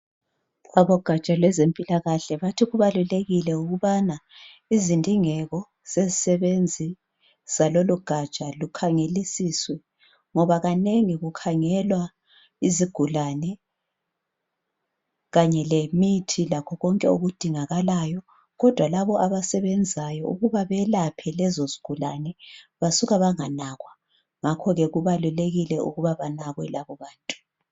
Abogaja lwezempilakahle bathi kubalulekile ukubana izindingeko zezisebenzi zalolugaja lukhangelisiswe ngoba kanengi kukhangelwa izigulane kanye lemithi lakho konke okudingakalayo kodwa labo abasebenzayo ukuba beyelaphe lezozigulane basuka banganakwa ngakho-ke kubalulekile ukuba banakwe labobantu